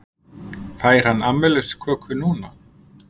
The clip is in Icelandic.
Fær hann afmælisköku núna?